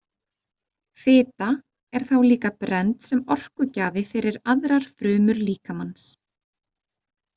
Fita er þá líka brennd sem orkugjafi fyrir aðrar frumur líkamans.